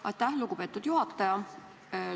Aitäh, lugupeetud juhataja!